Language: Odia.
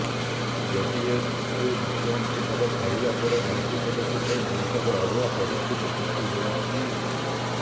ଜେଡିଏସକୁ ମୁଖ୍ୟମନ୍ତ୍ରୀ ପଦ ଛାଡିବା ପରେ ମନ୍ତ୍ରୀ ପଦକୁ ନେଇ ମେଣ୍ଟରେ ଅଡୁଆ ପରିସ୍ଥିତି ସୃଷ୍ଟି ହୋଇଛି